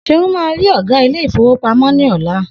Seun má ri ògá Ilé-ìfowópamó ní ọ̀la